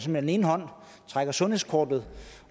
med den ene hånd trækker sundhedskortet